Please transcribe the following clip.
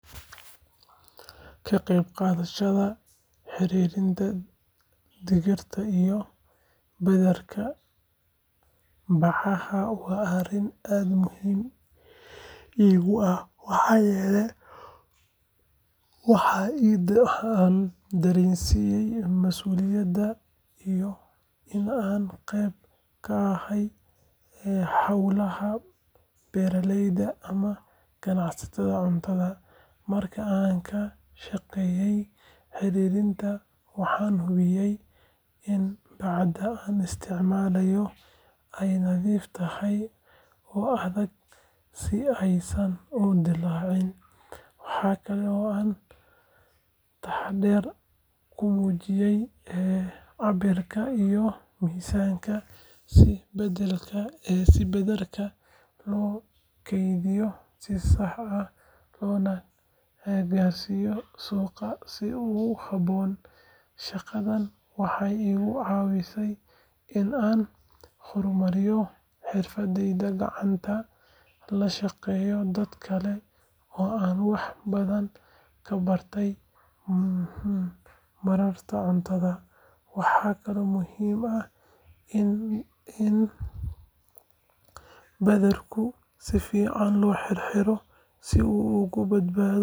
Ka qaybqaadashada xirxiridda digirta iyo badarka bacaha waa arrin aad muhiim iigu ah maxaa yeelay waxay i dareensiisaa masuuliyad iyo in aan qayb ka ahay hawlaha beeraleyda ama ganacsiga cuntada. Marka aan ka shaqeynayo xirxiridda, waxaan hubiyaa in bacda la isticmaalayo ay nadiif tahay oo adag si aysan u dilaacin. Waxa kale oo aan taxaddar ka muujiyo cabbirka iyo miisaanka si badarka loo kaydiyo si sax ah loona gaarsiiyo suuqyada sida ugu habboon. Shaqadan waxay iga caawisaa in aan horumariyo xirfadaha gacanta, la shaqeeyo dadka kale oo aan wax badan ka barto maaraynta cuntada. Waxaa kaloo muhiim ah in badarka si fiican loo xirxiro si uu uga badbaado.